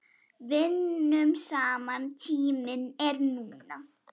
Vinnum saman Tíminn er núna.